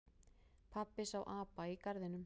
Pabbi sá apa í garðinum.